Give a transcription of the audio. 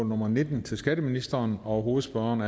nummer nitten til skatteministeren hovedspørgeren